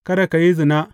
Kada ka yi zina.